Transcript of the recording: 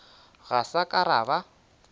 ga sa ka ra ba